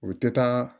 O tɛ taa